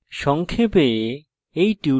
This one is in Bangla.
সংক্ষেপে